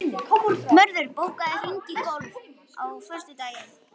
Mörður, bókaðu hring í golf á föstudaginn.